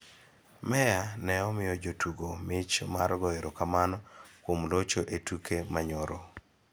Meya ne omiyo jotugo mich mar goyo erokamano kuom locho e tuke ma nyoro.